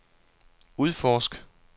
udforsk